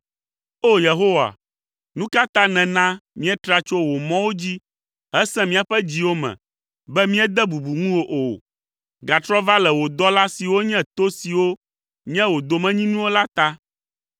O! Yehowa, nu ka ta nèna míetra tso wò mɔwo dzi hesẽ míaƒe dziwo me, be míede bubu ŋu wò o? Gatrɔ va le wò dɔla siwo nye to siwo nye wò domenyinuwo la ta.